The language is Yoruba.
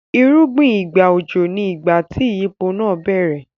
Irúgbìn ìgbà òjò ni ìgbà tí ìyípo náà bá bẹ̀rẹ̀.